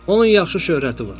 Onun yaxşı şöhrəti var.